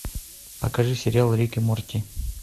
покажи сериал рик и морти